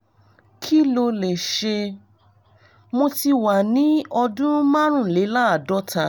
kí ló lè ṣe? mo ti wà ní ọdún márùnléláàádọ́ta